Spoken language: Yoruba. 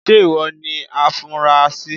Ṣé ìwọ ni afunrasí.?.